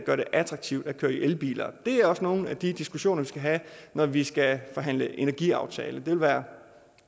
attraktivt at køre i elbiler det er også nogle af de diskussioner vi skal have når vi skal forhandle energiaftale det vil være